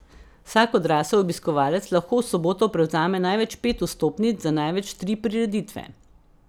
Vsak odrasel obiskovalec lahko v soboto prevzame največ pet vstopnic za največ tri prireditve.